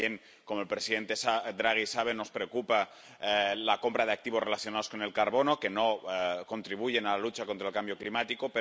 También, como el presidente Draghi sabe, nos preocupa la compra de activos relacionados con el carbono, que no contribuyen a la lucha contra el cambio climático.